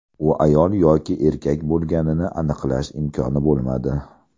U ayol yoki erkak bo‘lganini aniqlash imkoni bo‘lmadi.